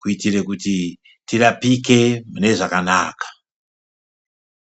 kuitire kuti tirapike mune zvakanaka.